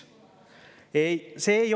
Ei!